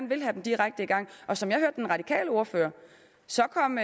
vil have dem direkte i gang som jeg hørte den radikale ordfører så kom